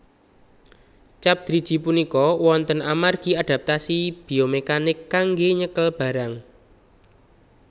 Cap driji punika wonten amargi adaptasi biomekanik kanggé nyekel barang